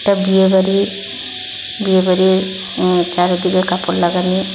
একটা বিয়েবাড়ি বিয়েবাড়ির উ চারিদিকে কাপড় লাগানি।